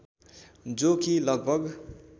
जो कि लगभग